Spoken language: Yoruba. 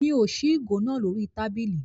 Mi ò ṣí ìgò náà lórí tábìlì.